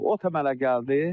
Ot əmələ gəldi.